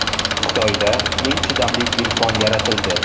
Xitoyda eng chidamli telefon yaratildi .